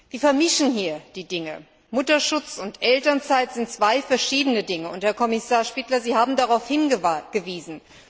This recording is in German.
Sie vermischen hier die Dinge Mutterschutz und Elternzeit sind zwei verschiedene Dinge Herr Kommissar Špidla, Sie haben darauf hingewiesen.